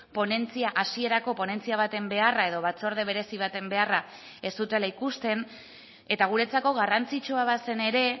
ponentzia hasierako ponentzia baten beharra edo batzorde berezi baten beharra ez zutela ikusten eta guretzako garrantzitsua bazen ere